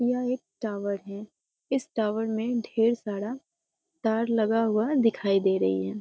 यह एक टावर है इस टावर में ढेर सारा तार लगा हुआ दिखाई दे रही हैं ।